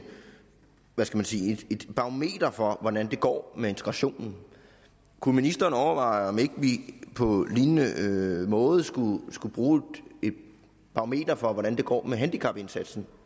man sige barometer for hvordan det går med integrationen kunne ministeren overveje om vi ikke på lignende måde skulle skulle bruge et barometer for hvordan det går med handicapindsatsen